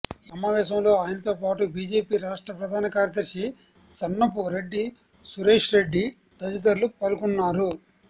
ఈ సమావేశంలో ఆయనతో పాటు బీజేపీ రాష్ట్ర ప్రధాన కార్యదర్శి సన్నపురెడ్డి సురేష్రెడ్డి తదితరులు పాల్గొన్నారు